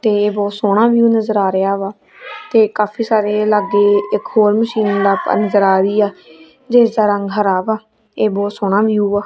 ਤੇ ਬਹੁਤ ਸੋਹਣਾ ਵਿਊ ਨਜਰ ਆ ਰਿਹਾ ਵਾ ਤੇ ਕਾਫੀ ਸਾਰੇ ਲਾਗੇ ਇੱਕ ਹੋਰ ਮਸ਼ੀਨ ਲਪ ਅੰਦਰ ਆ ਰਹੀ ਆ ਜਿਸਦਾ ਰੰਗ ਹਰਾ ਵਾ ਇਹ ਬਹੁਤ ਸੋਹਣਾ ਵਿਊ ਵਾ।